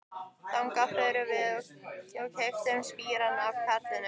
Þangað fórum við og keyptum spíra af karlinum.